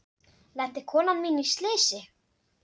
Lenti konan mín í slysi?